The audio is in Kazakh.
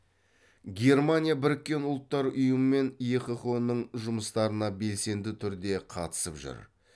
германия біріккен ұлттар ұйымы мен еқыұ ның жұмыстарына белсенді түрде қатысып жүр